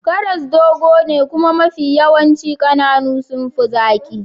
Karas dogo ne kuma mafi yawanci kananu sun fi zaki.